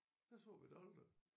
Der så vi det aldrig